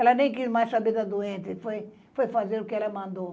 Ela nem quis mais saber da doente, foi, foi fazer o que ela mandou.